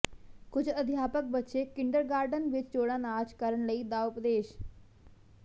ਕੁਝ ਅਧਿਆਪਕ ਬੱਚੇ ਕਿੰਡਰਗਾਰਟਨ ਵਿੱਚ ਜੋੜਾ ਨਾਚ ਕਰਨ ਲਈ ਦਾ ਉਪਦੇਸ਼